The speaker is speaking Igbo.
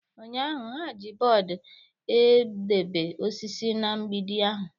Ụnyaahụ, ha ji bọọdụ edebe osisi na mgbidi ahụ.